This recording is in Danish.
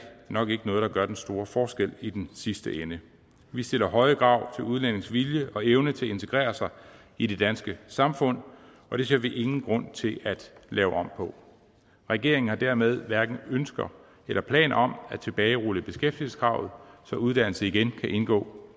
nok ikke noget der gør den store forskel i den sidste ende vi stiller høje krav til udlændinges vilje og evne til at integrere sig i det danske samfund og det ser vi ingen grund til at lave om på regeringen har dermed hverken ønsker eller planer om at tilbagerulle beskæftigelseskravet så uddannelse igen kan indgå